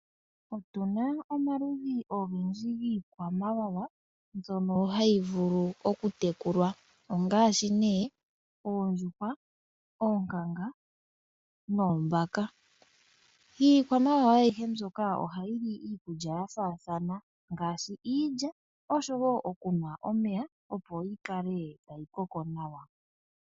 Otu na omaludhi ogendji giikwamawawa mbyono hayi vulu okutekulwa, ongaashi nee oondjuhwa, oonkanga noombaka. Iikwamawawa ayihe mbyoka ohayi li iikulya ya faathana ngaashi iilya osho wo oku nwa omeya, opo yi kale tayi koko nawa.